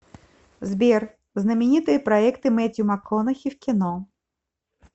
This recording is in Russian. сбер знаменитые проекты мэттью макконахи в кино